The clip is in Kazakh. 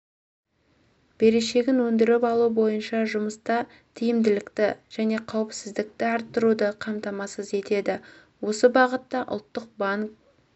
берешегін өндіріп алу бойынша жұмыста тиімділікті және қауіпсіздікті арттыруды қамтамасыз етеді осы бағытта ұлттық банк